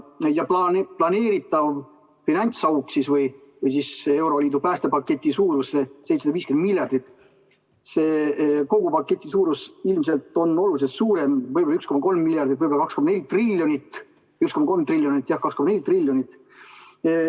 Ja planeeritav finantsauk või euroliidu päästepaketi suurus on 750 miljardit, selle kogu paketi suurus on ilmselt oluliselt suurem, võib-olla 1,3 miljardit, võib-olla 1,3 triljonit, jah, 2,4 triljonit.